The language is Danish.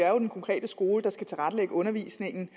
er den konkrete skole der skal tilrettelægge undervisningen